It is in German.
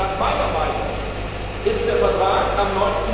Nach meiner Meinung ist der Vertrag am